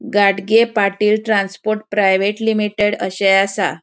गाडगे Patil transport private limited अशे आसा.